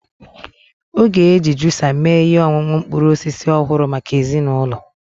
Ọ ga-eji juusa mee ihe ọṅụṅụ mkpụrụ osisi ọhụrụ maka ezinụlọ